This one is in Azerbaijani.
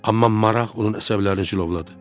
Amma maraq onun əsəblərini cilovladı.